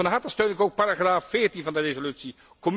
Van harte steun ik ook paragraaf 14 van de resolutie.